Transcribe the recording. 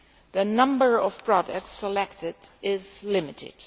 The number of products selected is limited.